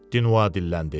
Dinua dilləndi.